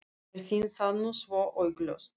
Mér finnst það nú svo augljóst.